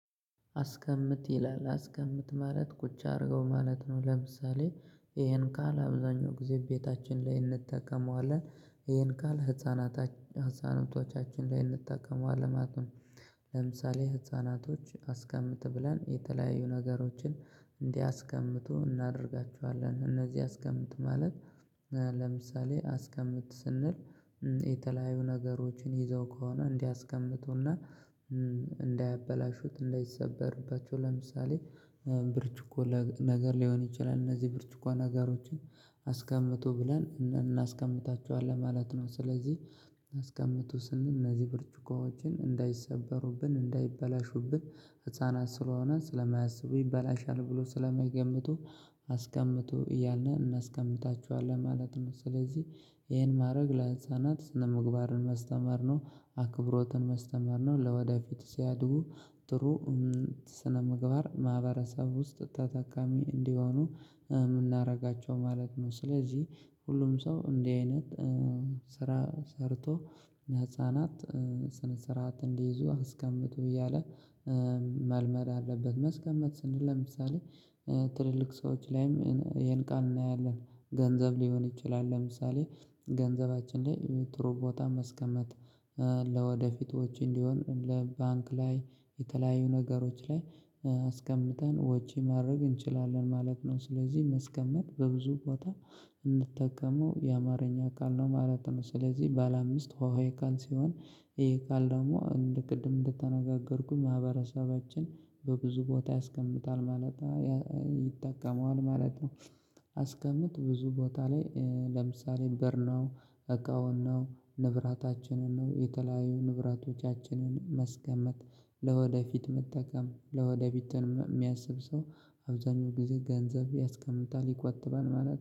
አስቀምጥ ይላል አስቀምጥ ማለት ቁጭ አድርገው ማለት ነው። ለምሳሌ ይሄን ካል አብዛኛው ጊዜ ቤታችን ላይ እንጠቀመዋለን። ይሄን ካል ህፃናት ህፃናቶቻችን ላይ እንጠቀመዋለን። ለምሳሌ ህፃናቶች አስቀምጥ ብለን የተለያዩ ነገሮችን እንዲያስቀምጡ እናደርጋችኋለን። እነዚህ አስቀምጥ ማለት ለምሳሌ አስቀምጥ ስንል የተለያዩ ነገሮችን ይዘው ከሆነ እንዲያስቀምጡና። እንዳያበላሹት እንዳይሰበርባቸው ለምሳሌ ብርጭቆ ነገር ሊሆን ይችላል እነዚህ ብርጭቆ ነገሮችን አስቀምጦ ብለን እናስቀምጣቸዋለን ማለት ነው። ስለዚህ አስቀምጦ ስንል እነዚህ ብርጭቆዎችን እንዳይሰበሩብን እንዳይበላሹብን ህፃናት ስለሆነ ስለማያስቡ ይበላሻል ብሎ ስለማይገምቱ አስቀምጡ እያልን እናስቀምጣችኋለን ማለት ነው። ስለዚህ ይሄን ማድረግ ለህንፃ ናት ስነምግባር መስተማር ነው አክብሮትን መስተማር ነው። ለወደፊት ሲያድጉ ጥሩ ስነ ምግባር ማህበረሰብ ውስጥ ተጠቃሚ እንዲሆኑ የምናደርጋቸው ማለት ነው። ስለዚህ ሁሉም ሰው እንዲህ አይነት ስራ ሰርቶ ህፃናት ስነ ስርዓት እንዲይዙ አስቀምጡ እያለ መልመድ አለበት። መስቀመጥ ስንል ለምሳሌ ትልልቅ ሰዎች ላይም ይሄን ቃል እናያለን ገንዘብ ሊሆን ይችላል። ለምሳሌ ገንዘባችን ላይ ጥሩ ቦታ መስቀመጥ ለወደፊቶች እንዲሆን ለባንክ ላይ የተለያዩ ነገሮች ላይ አስቀምጠን ወጪ ማድረግ እንችላለን ማለት ነው። ስለዚህ መስቀመጥ በብዙ ቦታ እንጠቀመው የአማርኛ ቃለ ነው ማለት ነው። ስለዚህ ባለ አምስት ውሃዬ ካን ሲሆን ይሄ ካል ደግሞ እንደ ቅድም እንደተነጋገርኩኝ ማህበረሰባችን በብዙ ቦታ ያስቀምጣል ማለት ይጠቀመዋል ማለት ነው። አስቀምጥ ብዙ ቦታ ላይ ለምሳሌ በር ነው እቃውን ነው ንብራታችንን ነው የተለያዩ ንብራቶቻችንን መስገመት ለወደፊት መጠቀም ለወደፊት የሚያስብ ሰው አብዛኛው ጊዜ ገንዘብ ያስቀምጣል ይቆጥባል ማለት